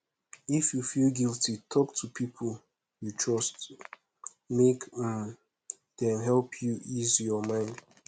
if yu feel guilty talk to pipo yu trust mek um dem help yu ease yur mind